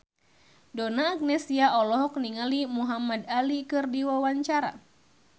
Donna Agnesia olohok ningali Muhamad Ali keur diwawancara